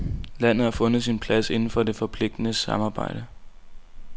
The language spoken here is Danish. Landet har fundet sin plads inden for det forpligtende samarbejde.